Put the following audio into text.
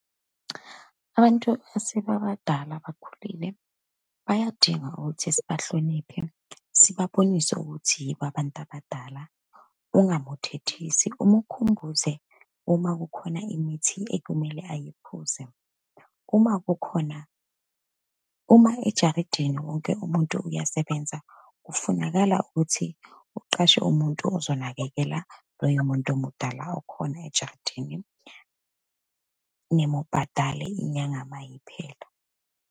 Abantu esebabadala, abakhulile, bayadinga ukuthi sibahloniphe, sibabonise ukuthi yibo abantu abadala, ungamuthethisi, umukhumbuze uma kukhona imithi ekumele ayiphuze. Uma kukhona, uma ejaridini wonke umuntu uyasebenza, kufunakala ukuthi uqashe umuntu ozonakekela loyo muntu omudala okhona ejaridini, nimubhadale inyanga uma iphela.